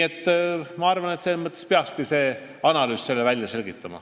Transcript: Ma arvan, et see analüüs peakski selle välja selgitama.